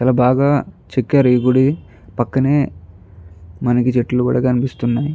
చాల బాగా చెక్కారు ఈ గుడి పక్కనే మనకి చెట్లు కూడా కనిపిస్తున్నాయి.